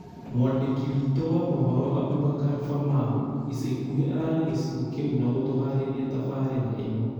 Mwandĩki wĩtũ wa mohoro Aboubakar Famau ica ikuhĩ ararĩ gĩcigo kĩu na gũtũharĩria tabarĩra ĩno